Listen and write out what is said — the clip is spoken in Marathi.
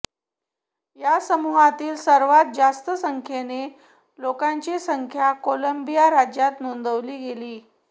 या समुहातील सर्वात जास्त संख्येने लोकांची संख्या कोलंबिया राज्यात नोंदवली गेली